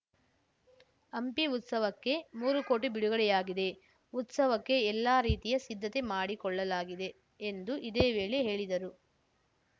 ಹಂಪಿ ಉತ್ಸವಕ್ಕೆ ಮೂರು ಕೋಟಿ ಬಿಡುಗಡೆಯಾಗಿದೆ ಉತ್ಸವಕ್ಕೆ ಎಲ್ಲಾ ರೀತಿಯ ಸಿದ್ಧತೆ ಮಾಡಿಕೊಳ್ಳಲಾಗಿದೆ ಎಂದು ಇದೇ ವೇಳೆ ಹೇಳಿದರು